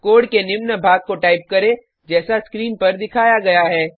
code के निम्न भाग को टाइप करें जैसा स्क्रीन पर दिखाया गया है